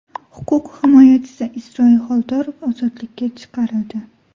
Huquq himoyachisi Isroil Xoldorov ozodlikka chiqarildi.